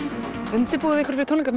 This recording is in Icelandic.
undirbúið þið ykkur fyrir tónleika